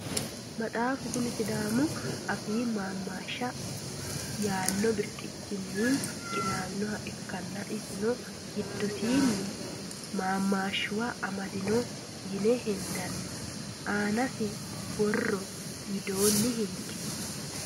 maxaafu kuni sidaamu afii maamaashsha yaanno birxichinni qinaawinoha ikkanna, isino giddosiinni maamaashshuwa amadanno yine hendanni aanisi borro widoonni hinge .